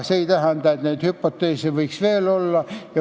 See ei tähenda, et neid hüpoteese ei võiks veel olla.